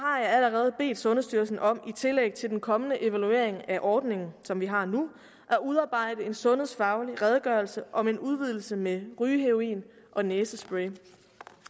allerede bedt sundhedsstyrelsen om i tillæg til den kommende evaluering af ordningen som vi har nu at udarbejde en sundhedsfaglig redegørelse om en udvidelse med rygeheroin og næsespray